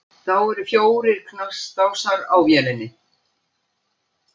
Þá eru fjórir knastásar á vélinni.